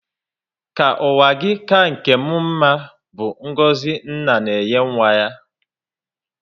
Ka ụwa gị ka nkè m mmá bu ngọzi nna na enye nwa ya